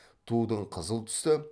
тудың қызыл түсі